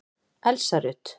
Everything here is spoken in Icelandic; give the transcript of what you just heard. Elsa Rut.